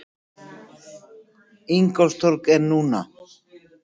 Ingólfstorg er núna.